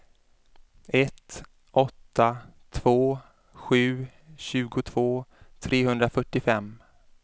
ett åtta två sju tjugotvå trehundrafyrtiofem